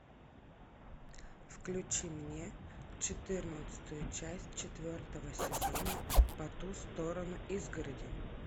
включи мне четырнадцатую часть четвертого сезона по ту сторону изгороди